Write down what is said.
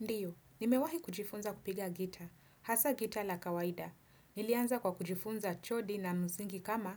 Ndiyo, nimewahi kujifunza kupiga gitaa. Hasa gitaa la kawaida. Nilianza kwa kujifunza chodi na na msingi kama